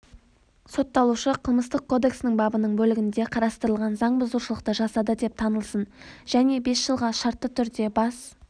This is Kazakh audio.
сотталушы қылмыстық кодексінің бабының бөлігінде қарастырылған заңбұзушылықты жасады деп танылсын және бес жылға шартты түрде бас